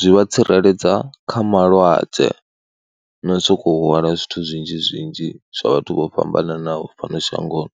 zwi vha tsireledza kha malwadze na u sokou hwala zwithu zwinzhi zwinzhi zwa vhathu vho fhambananaho fhano shangoni.